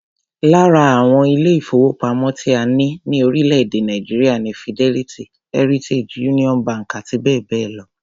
Lára àwọn ilé-ìfowópamọ́ tí a ní ní orílẹ̀-èdè Nàìjíríà ni Fidelity, Heritage, Union bank àti bẹ́ẹ̀ bẹ́ẹ̀ lọ.